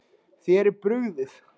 Þér er brugðið.